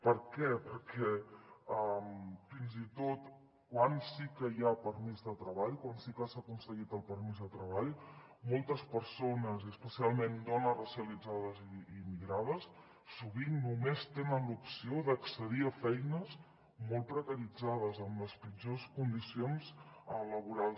per què perquè fins i tot quan sí que hi ha permís de treball quan sí que s’ha aconseguit el permís de treball moltes persones i especialment dones racialitzades i migrades sovint només tenen l’opció d’accedir a feines molt precaritzades amb les pitjors condicions laborals